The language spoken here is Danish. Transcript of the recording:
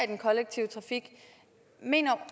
den kollektive trafik mener